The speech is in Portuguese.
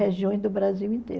Regiões do Brasil inteiro.